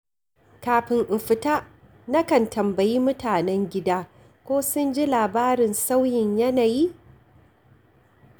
Kafin in fita, na kan tambayi mutanen gida ko sun ji labarin sauyin yanayi?